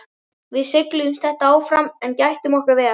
Við seigluðumst þetta áfram en gættum okkar vel.